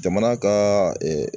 Jamana ka